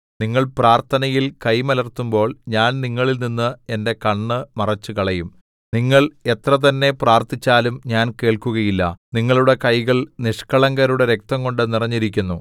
നിങ്ങൾ പ്രാര്‍ത്ഥനയില്‍ കൈകൾമലർത്തുമ്പോൾ ഞാൻ നിങ്ങളിൽനിന്ന് എന്റെ കണ്ണ് മറച്ചുകളയും നിങ്ങൾ എത്രതന്നെ പ്രാർത്ഥിച്ചാലും ഞാൻ കേൾക്കുകയില്ല നിങ്ങളുടെ കൈകൾ നിഷ്കളങ്കരുടെ രക്തംകൊണ്ടു നിറഞ്ഞിരിക്കുന്നു